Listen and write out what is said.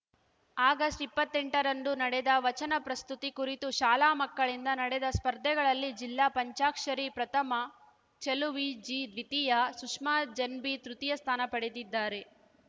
August ಇಪ್ಪತ್ತೆಂಟರಂದು ನಡೆದ ವಚನ ಪ್ರಸ್ತುತಿ ಕುರಿತು ಶಾಲಾ ಮಕ್ಕಳಿಂದ ನಡೆದ ಸ್ಪರ್ಧೆಗಳಲ್ಲಿ ಜಿಲ್ಲಾಪಂಚಾಕ್ಷರಿ ಪ್ರಥಮ ಚೆಲುವಿ ಜಿ ದ್ವಿತೀಯ ಸುಷ್ಮಾ ಜೆನ್‌ಬಿ ತೃತೀಯ ಸ್ಥಾನ ಪಡೆದಿದ್ದಾರೆ